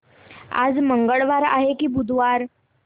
आज मंगळवार आहे की बुधवार